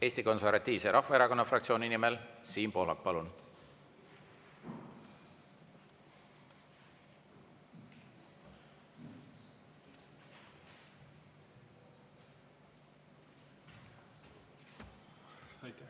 Eesti Konservatiivse Rahvaerakonna fraktsiooni nimel Siim Pohlak, palun!